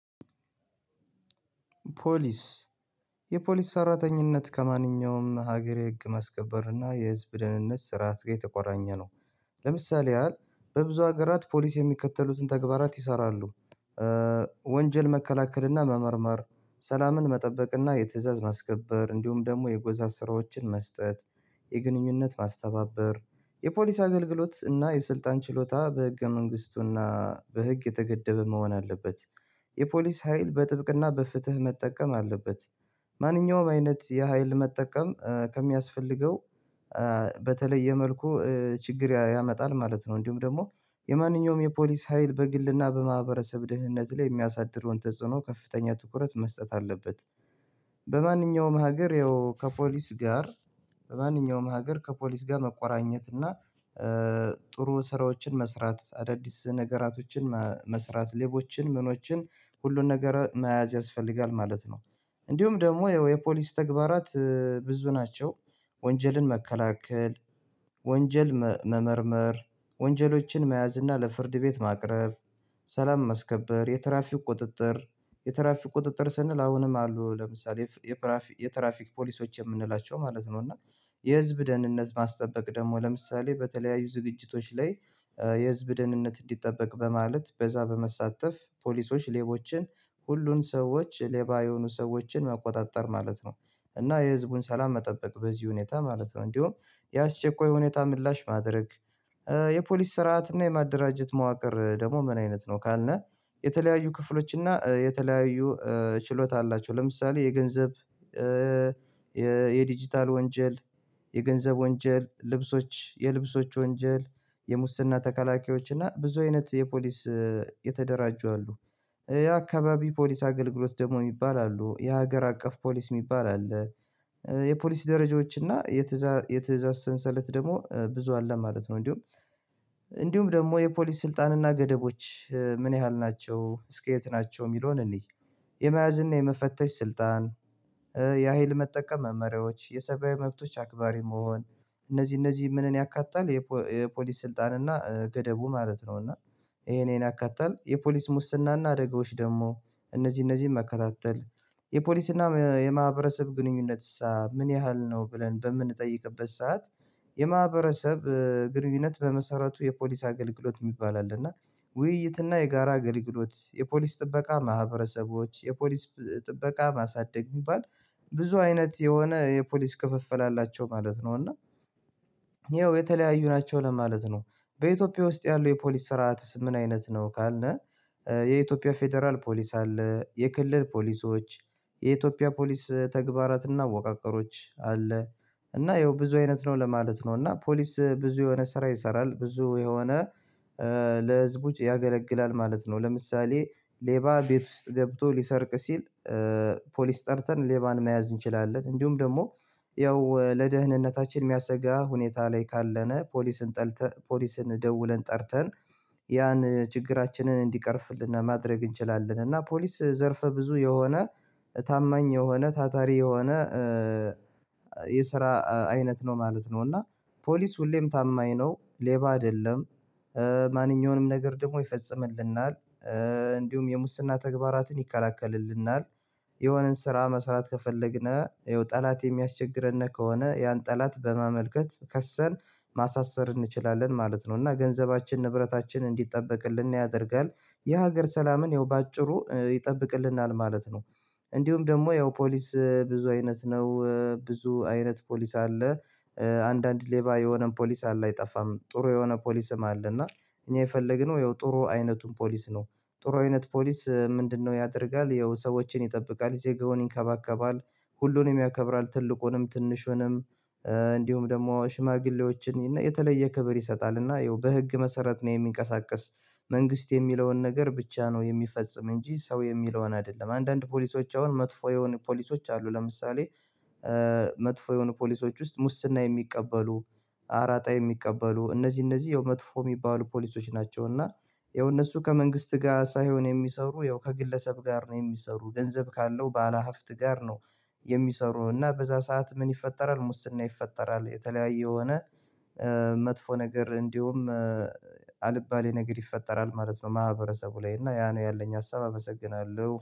ፖሊስ የፖሊስ ሰራተኝነት ከማንኛውም ሀገር የህግ ማስከበር እና የህዝብ ደህንነት ስርዓት ጋር የተቆራኘ ነው። ለምሳሌ ያህል በብዙ ሀገራት ፖሊስ የሚከተሉትን ተግባራት ይሰራሉ። ወንጀል መከላከልና መመርመር ሰላምን መጠበቅና የትእዛዝ ማስከበር እንዲሁም ደግሞ የጎዛ ስራዎችን መስጠት የግንኙነት ማስተባበር የፖሊስ አገልግሎት እና የስልጣን ችሎታ በህገ መንግስቱና በህግ የተገደበ መሆን አለበት። የፖሊስ ሀይል በጥብቅና በፍትህ መጠቀም አለበት። ማንኛውም አይነት የሀይል መጠቀም ከሚያስፈልገው በተለየ መልኩ ችግር ያመጣል ማለት ነው። እንዲሁም ደግሞ የማንኛውም የፖሊስ ሀይል በግልና በማህበረሰብ ደህንነት ላይ የሚያሳድረውን ተጽዕኖ ከፍተኛ ትኩረት መስጠት አለበት። በማንኛውም ሀገር ከፖሊስ ጋር በማንኛውም ሀገር ከፖሊስ ጋር መቆራኘትና ጥሩ ስራዎችን መስራት አዳዲስ ነገራቶችን መስራት ሌቦችን ምኖችን ሁሉን ነገር መያዝ ያስፈልጋል ማለት ነው። እንዲሁም ደግሞ የፖሊስ ተግባራት ብዙ ናቸው። ወንጀልን መከላከል ወንጀል መመርመር ወንጀሎችን መያዝ እና ለፍርድ ቤት ማቅረብ ሰላም ማስከበር የትራፊክ ቁጥጥር የትራፊክ ቁጥጥር ስንል አሁንም አሉ ለምሳሌ የትራፊክ የትራፊክ ፖሊሶች የምንላቸው ማለት ነው። እና የህዝብ ደህንነት ማስጠበቅ ደግሞ ለምሳሌ በተለያዩ ዝግጅቶች ላይ የህዝብ ደህንነት እንዲጠበቅ በማለት በዛ በመሳተፍ ፖሊሶች ሌቦችን ሁሉን ሰዎች ሌባ የሆኑ ሰዎችን መቆጣጠር ማለት ነው። እና የህዝቡን ሰላም መጠበቅ በዚህ ሁኔታ ማለት ነው እንዲሁም ያስቸኳይ ሁኔታ ምላሽ ማድረግ። የፖሊስ ስርዓት እና የማደራጀት መዋቅር ደግሞ ምን አይነት ነው ካልነው የተለያዩ ክፍሎች እና የተለያዩ ችሎታ አላቸው ለምሳሌ የገንዘብ የዲጂታል ወንጀል የገንዘብ ወንጀል ልብሶች የልብሶች ወንጀል የሙስና ተከላካዮች እና ብዙ አይነት የፖሊስ የተደራጁ አሉ። የአካባቢው ፖሊስ አገልግሎት ደግሞ የሚባል አሉ የሀገር አቀፍ ፖሊስ የሚባል አለ። የፖሊስ ደረጃዎች እና የትእዛዝ የትእዛዝ ሰንሰለት ደግሞ ብዙ አለ ማለት ነው። እንዲሁም እንዲሁም ደግሞ የፖሊስ ስልጣንና ገደቦች ምን ያህል ናቸው እስከ የት ናቸው የሚለውን እንይ? የመያዝና የመፈተሽ ስልጣን የሀይል መጠቀም መመሪያዎች የሰብአዊ መብቶች አክባሪ መሆን እነዚህ እነዚህ ምንን ያካታል የፖሊስ ስልጣን እና ገደቡ ማለት ነው። እና ይሄ እኔን ያካተል የፖሊስ ሙስና እና አደጋዎች ደግሞ እነዚህ እነዚህን መከታተል የፖሊስና የማህበረሰብ ግንኙነት ምን ያህል ነው ብለን በምንጠይቅበት ሰዓት የማህበረሰብ ግንኙነት በመሰረቱ የፖሊስ አገልግሎት የሚባል አለ እና ውይይት እና የጋራ አገልግሎት የፖሊስ ጥበቃ ማህበረሰቦች የፖሊስ ጥበቃ ማሳደግ ይባል። ብዙ አይነት የሆነ የፖሊስ ክፍፍል አላቸው ማለት ነው እና ይኸው የተለያዩ ናቸው ለማለት ነው። በኢትዮጵያ ውስጥ ያሉ የፖሊስ ስርዓት ምን አይነት ነው ካልነህ የኢትዮጵያ ፌደራል ፖሊስ አለ የክልል ፖሊሶች የኢትዮጵያ ፖሊስ ተግባራትና አወቃቀሮች አለ። እና ያው ብዙ አይነት ነው ለማለት ነው እና ፖሊስ ብዙ የሆነ ስራ ይሰራል ብዙ የሆነ ለህዝብ ውጪ ያገለግላል ማለት ነው። ለምሳሌ ሌባ ቤት ውስጥ ገብቶ ሊሰርቅ ሲል ፖሊስ ጠርተን ሌባን መያዝ እንችላለን እንዲሁም ደግሞ ያው ለደህንነታችን የሚያሰጋ ሁኔታ ላይ ካለነ ፖሊስን ጠልተን ፖሊስን ደውለን ጠርተን ያን ችግራችንን እንዲቀርፍልን ማድረግ እንችላለን እና ፖሊስ ዘርፈ ብዙ የሆነ ታማኝ የሆነ ታታሪ የሆነ የስራ አይነት ነው ማለት ነው። እና ፖሊስ ሁሌም ታማኝ ነው ሌባ አይደለም። ማንኛውንም ነገር ደግሞ ይፈጽምልናል። እንዲሁም የሙስና ተግባራትን ይከላከልልናል። የሆነን ስራ መስራት ከፈለግነው ጠላት የሚያስቸግረን ከሆነ ያን ጠላት በማመልከት ከሰን ማሳሰር እንችላለን ማለት ነው። እና ገንዘባችን ንብረታችን እንዲጠበቅልን ያደርጋል የሀገር ሰላምን ያው በአጭሩ ይጠብቅልናል ማለት ነው። እንዲሁም ደግሞ ያው ፖሊስ ብዙ አይነት ነው ብዙ አይነት ፖሊስ አለ። አንዳንድ ሌባ የሆነን ፖሊስ አለ አይጠፋም ጥሩ የሆነ ፖሊስም አለ እና እኛ የፈለግነው ያው ጥሩ አይነቱን ፖሊስ ነው። ጥሩ አይነት ፖሊስ ምንድነው ያደርጋል ያው ሰዎችን ይጠብቃል ዜጋውን ይንከባከባል። ሁሉንም ያከብራል ትልቁንም ትንሹንም እንዲሁም ደግሞ ሽማግሌዎችን የተለየ ክብር ይሰጣል እና ይኸው በህግ መሰረት ነው የሚንቀሳቀስ መንግስት የሚለውን ነገር ብቻ ነው። የሚፈጽም እንጂ ሰው የሚለውን አይደለም። አንዳንድ ፖሊሶች አሁን መጥፎ የሆኑ ፖሊሶች አሉ ለምሳሌ መጥፎ የሆኑ ፖሊሶች ውስጥ ሙስና የሚቀበሉ አራጣ የሚቀበሉ እነዚህ እነዚህ ያው መጥፎ የሚባሉ ፖሊሶች ናቸው። እና ያው እነሱ ከመንግስት ጋር ሳይሆን የሚሰሩ ያው ከግለሰብ ጋር ነው የሚሰሩ ገንዘብ ካለው ባለሀፍት ጋር ነው። የሚሰሩና በዛ ሰዓት ምን ይፈጠራል ሙስና ይፈጠራል። የተለያየ የሆነ መጥፎ ነገር እንዲሁም አልባሌ ነገር ይፈጠራል ማለት ነው። ማህበረሰቡ ላይ እና ያ ነው ያለኝ ሀሳብ አመሰግናለሁ